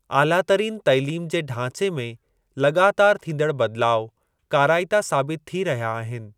ऑलातरीन तालीम जे ढांचे में लॻातार थींदड़ बदिलाउ काराइता साबित थी रहिया आहिनि।